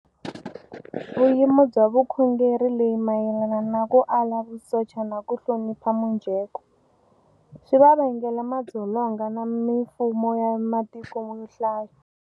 Vuyimo bya vukhongeri leyi mayelana na ku ala vusocha na ku hlonipha mujeko, swi va vangele madzolonga na Mifumo ya matiko yo hlaya.